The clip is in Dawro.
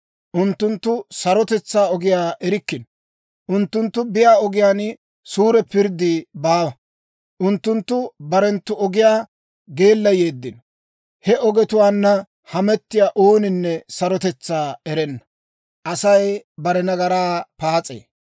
Unttunttu sarotetsaa ogiyaa erikkino; unttunttu biyaa ogiyaan suure pirddi baawa; unttunttu barenttu ogiyaa geellayeeddino; he ogetuwaanna hametiyaa ooninne sarotetsaa erenna.